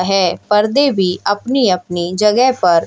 है पर्दे भी अपनी अपनी जगह पर--